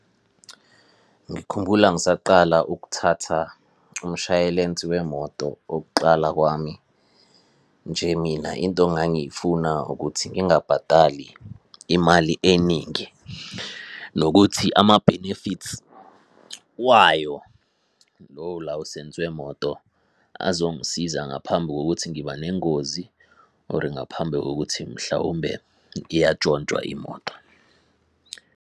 Ngikhumbula ngisaqala ukuthatha umshayelensi wemoto okuqala kwami, nje mina into ngangiyifuna ukuthi ngingabhadali imali eningi nokuthi ama-benefits wayo lowo lawusensi wemoto azongisiza ngaphambi kokuthi ngiba nengozi, or ngaphambi kokuthi mhlawumbe iyatshontshwa imoto.